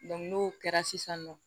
n'o kɛra sisan nɔ